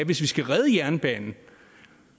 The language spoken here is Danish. hvis vi skal redde jernbanen